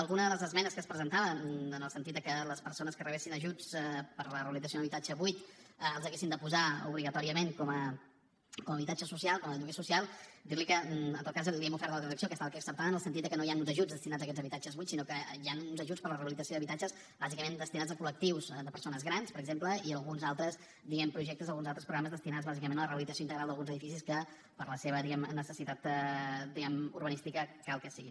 alguna de les esmenes que es presentaven en el sentit de que les persones que rebessin ajuts per a la rehabilitació d’un habitatge buit els haguessin de posar obligatòriament com a habitatge social com a lloguer social dir li que en tot cas li hem ofert una transacció que ha estat acceptada en el sentit de que no hi han ajuts destinats a aquests habitatges buits sinó que hi han uns ajuts per a la realització d’habitatges bàsicament destinats a col·lectius de persones grans per exemple i alguns altres projectes alguns altres programes destinats bàsicament a la rehabilitació integral d’alguns edificis que per la seva necessitat urbanística cal que hi siguin